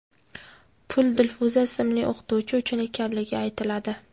Pul Dilfuza ismli o‘qituvchi uchun ekanligi aytiladi.